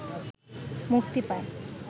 মুক্তি পায়।